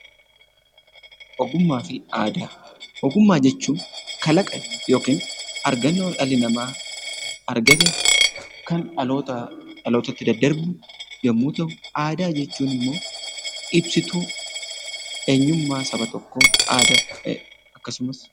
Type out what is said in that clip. Ogummaa fi aadaa. Ogummaa jechuun kalaqa yookin argannoo dhalli namaa argate kan dhalootaa dhalootatti daddarbu yemmuu ta'u aadaa jechuun immoo ibsituu eenyummaa saba tokkoo aadaa akkasumas